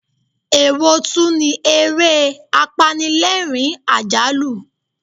Èwo tún ni ere apanilerin-ajalu?